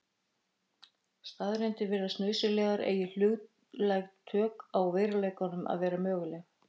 Staðreyndir virðast nauðsynlegar eigi hlutlæg tök á veruleikanum að vera möguleg.